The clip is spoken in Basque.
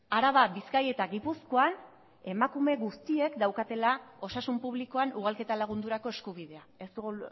araba bizkaia eta gipuzkoan emakume guztiek daukatela osasun publikoan ugalketa lagundurako eskubidea ez dugu